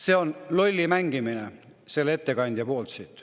See on lolli mängimine selle ettekandja poolt.